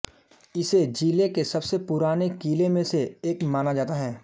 इसे जिले के सबसे पुराने किले में से एक माना जाता है